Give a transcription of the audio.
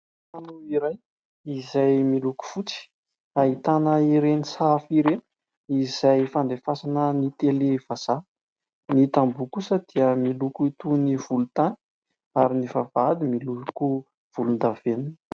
Trano iray izay miloko fotsy ahitana ireny sahafa ireny izay fandefasana ny "tele" vazaha. Ny tamboha kosa dia miloko itony ny volon-tany, ary ny vavahdy miloko volon-davenina.